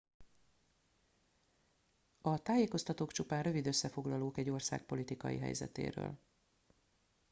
a tájékoztatók csupán rövid összefoglalók egy ország politikai helyzetéről